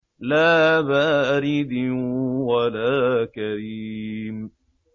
لَّا بَارِدٍ وَلَا كَرِيمٍ